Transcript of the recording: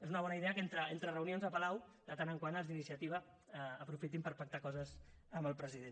és una bona idea que entre reunions a palau de tant en tant els d’iniciativa aprofitin per pactar coses amb el president